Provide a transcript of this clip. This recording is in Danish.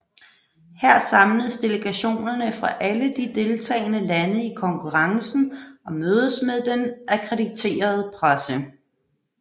Her samles delegationerne fra alle de deltagende lande i konkurrencen og mødes med den akkrediterede presse